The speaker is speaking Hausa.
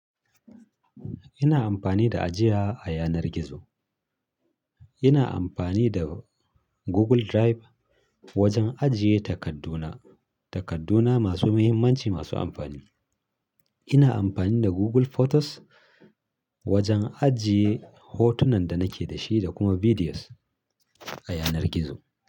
Ina amfani da ajiya a yanar gizo. Ina amfani da Google Drive wajen ajiye takadduna, takadduna masu muhimmanci, masu amfani. Ina amfani da Google Photos wajen ajiye hotunan da nake da shi da kuma videos a yanar gizo.